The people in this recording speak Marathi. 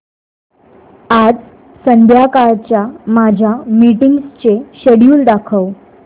आज संध्याकाळच्या माझ्या मीटिंग्सचे शेड्यूल दाखव